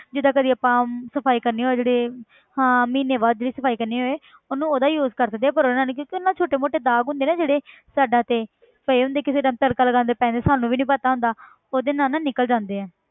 ਜਿੱਦਾਂ ਕਦੇ ਆਪਾਂ ਸਫ਼ਾਈ ਕਰਨੀ ਹੋਏ ਜਿਹੜੀ ਹਾਂ ਮਹੀਨੇ ਬਾਅਦ ਜਿਹੜੀ ਸਫ਼ਾਈ ਕਰਨੀ ਹੋਏ ਉਹਨੂੰ ਉਹਦਾ use ਕਰ ਸਕਦੇ ਹਾਂ ਪਰ ਉਹਦੇ ਨਾਲ ਨੀ ਕਿਉਂਕਿ ਉਹਦੇ ਨਾਲ ਛੋਟੇ ਮੋਟੇ ਦਾਗ ਹੁੰਦੇ ਆ ਨਾ ਜਿਹੜੇ ਸਾਇਡਾਂ ਤੇ ਪਏ ਹੁੰਦੇ ਕਿਸੇ time ਤੜਕਾ ਲਗਾਉਂਦੇ ਪੈ ਜਾਂਦੇ ਸਾਨੂੰ ਵੀ ਨੀ ਪਤਾ ਹੁੰਦਾ ਉਹਦੇ ਨਾਲ ਨਾ ਨਿਕਲ ਜਾਂਦੇ ਆ,